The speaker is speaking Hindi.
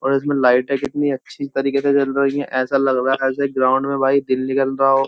और इसमे लाइटें कितनी अच्छे तरीके से जल रही हैं ऐसा लग रहा है जैसे ग्राउंड में भाई दिन निकल रहा हो।